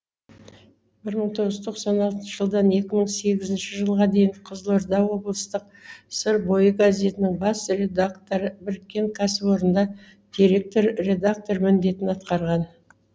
бір мың тоғыз жүз тоқсан алтыншы жылдан екі мың сегізінші жылға дейін қызылорда облыстық сыр бойы газетінің бас редакторы біріккен кәсіпорында директор редактор міндетін атқарған